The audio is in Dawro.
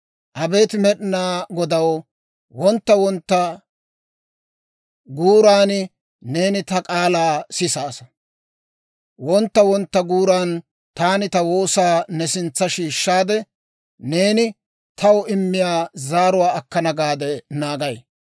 Abeet Med'inaa Godaw, wontta wontta guuran neeni ta k'aalaa sisaasa. Wontta wontta guuran taani ta woosaa ne sintsa shiishshaade, neeni taw immiyaa zaaruwaa akkana gaade naagay.